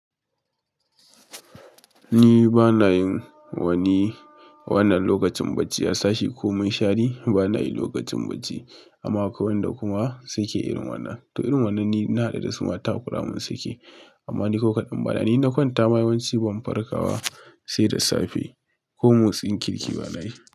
Ni ba na yin wani wannan lokacin bacci, a sashi ko mushari ba na yi lokacin bacci. Amna akeai wanda kuma suke irin wannan to irin wannan ni na haɗu da su mata kuramun suke, amma ni kokaɗin bana. Ni inna kwanta ma yawanci ban farka wa sai da safe ko motsin kirki ba na yi.